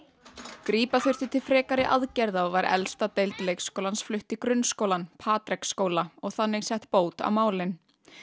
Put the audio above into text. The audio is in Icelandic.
grípa þurfti til frekari aðgerða og var elsta deild leikskólans flutt í grunnskólann Patreksskóla og þannig sett bót á málin